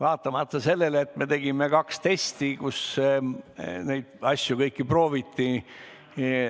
Jah, me tegime kaks testi, kus neid asju kõiki prooviti.